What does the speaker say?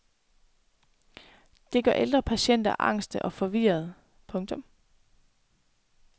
Det gør ældre patienter angste og forvirrede. punktum